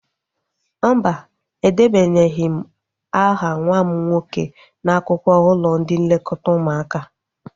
Mba, edebanyeghi m aha nwa m nwoke n'akwụkwọ ụlọ ndị nlekọta ụmụaka